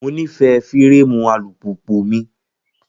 Mo nífẹ̀ẹ́ fírámù alùpùpù mi